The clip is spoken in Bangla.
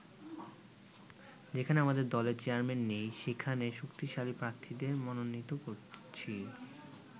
যেখানে আমাদের দলের চেয়ারম্যান নেই, সেখানে শক্তিশালী প্রার্থীদের মনোনীত করছি।